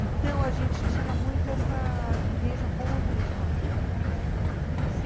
Então, a gente tinha muito essa vivência com os meus pais, né? Aham.